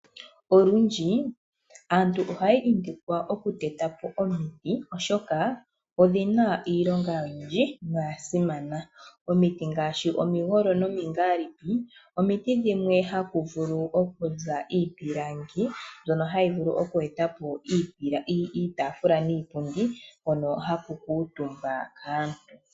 Olundji aantu ohaya indikwa okuteta po omiti, oshoka odhi na iilonga oyindji no ya simana. Omiti ngaashi omigolo nomingalipi, omiti dhimwe haku vulu okuza iipilangi mbyono hayi vulu oku eta po iitafula niipundi, hono haku kuutumba aantu.